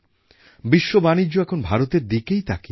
অনেক বছর আগে ডক্টর আম্বেডকর ভারতের শিল্পায়নের কথা বলেছিলেন